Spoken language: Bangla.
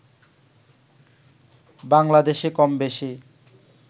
বাংলাদেশে কমবেশি